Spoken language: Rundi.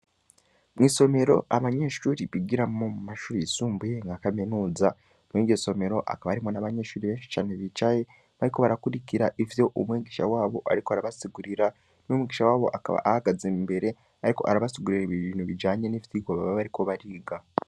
Mwisomero Abanyeshure bigiramwo mumashure Yisumbuye yakaminuza, Mwiryo somero hakaba harimwo n'abanyeshure Beshi cane bicaye, bariko barakurikira ivyo umwigusha wabo ariko arabasigurira n'umwigisha wabo akanya ahagaze imbere, ariko arabasigurira ibintu ndijanye n'ivyigwa baba bariko bariga.